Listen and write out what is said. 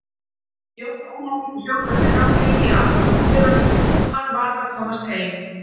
Jón Ólafur hljóp eftir ganginum í átt að útidyrunum, hann varð að komast heim.